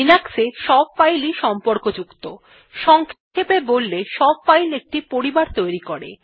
লিনাক্সে সব ফাইল ই সম্পর্ক যুক্ত সংক্ষেপে বললে সব ফাইল একটি পরিবার তৈরী করে